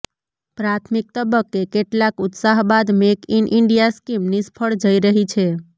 પ્રાથમિક તબક્કે કેટલાક ઉત્સાહ બાદ મેક ઈન ઈન્ડિયા સ્કીમ નિષ્ફળ જઈ રહી છે